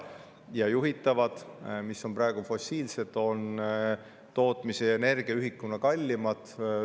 Ja juhitav, mis on praegu fossiilne, on tootmis‑ ja energiaühiku kallim.